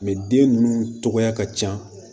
den ninnu cogoya ka can